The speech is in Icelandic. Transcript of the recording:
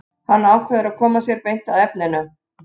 Hann ákveður að koma sér beint að efninu.